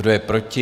Kdo je proti?